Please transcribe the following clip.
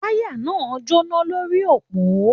Wáyà náà ń jóná lórí òpó